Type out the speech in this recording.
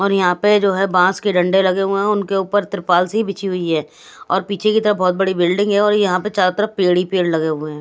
और यहाँ पे जो है बांस के डंडे लगे हुए हैं उनके ऊपर त्रिपाल सी बिछी हुई है और पीछे की तरफ बहुत बड़ी बिल्डिंग है और यहां पर चारों तरफ पेड़ ही पेड़ लगे हुए हैं।